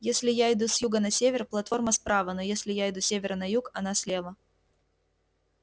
если я иду с юга на север платформа справа но если я иду с севера на юг она слева